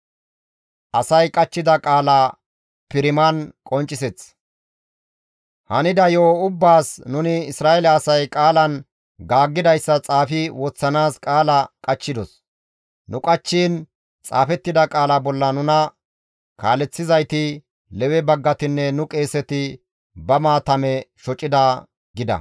«Hanida yo7o ubbaas nuni Isra7eele asay qaalan gaaggidayssa xaafi woththanaas qaala qachchidos; nu qachchiin xaafettida qaala bolla nuna kaaleththizayti, Lewe baggatinne nu qeeseti ba maatame shocida» gida.